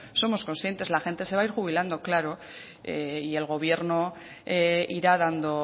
somos conscientes la gente se va ir jubilando claro y el gobierno irá dando